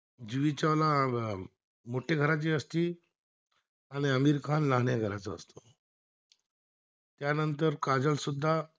जुई चावला अं मोठ्या घराची असती आणि अमीर खान लहान्या घराचा असतो, त्यानंर काजोल सुद्धा